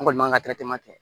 An kɔni man ka kɛ